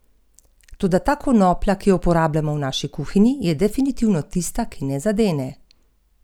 In prav to je storil rektor s svojim opozorilom!